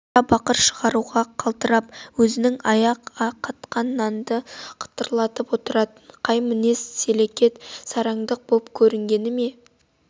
қара бақыр шығаруға қалтырап өзінен аяп қатқан нанды қытырлатып отыратын кей мінез сөлекет сараңдық боп көрінгенімен